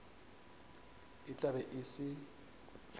e tla be e se